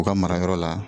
U ka mara yɔrɔ la